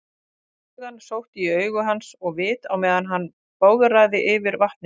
Flugan sótti í augu hans og vit á meðan hann bograði yfir vatninu.